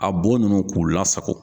A bo ninnu k'u lasago.